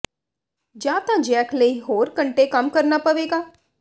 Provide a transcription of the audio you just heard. ਜਾਂ ਤਾਂ ਜੈਕ ਲਈ ਹੋਰ ਘੰਟੇ ਕੰਮ ਕਰਨਾ ਪਵੇਗਾ